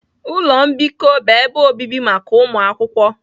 Ụlọ mbikọ bụ ebe obibi maka ụmụ akwụkwọ